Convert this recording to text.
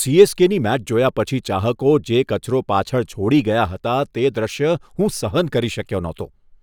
સી.એસ.કે.ની match જોયા પછી ચાહકો જે કચરો પાછળ છોડી ગયા હતા તે દૃશ્ય હું સહન કરી શક્યો નહોતો.